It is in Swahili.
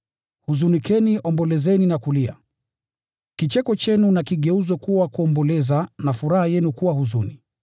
Huzunikeni, ombolezeni na kulia. Kicheko chenu na kigeuzwe kuwa kuomboleza, na furaha yenu kuwa huzuni.